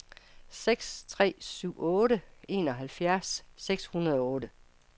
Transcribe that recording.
seks tre syv otte enoghalvfjerds seks hundrede og otte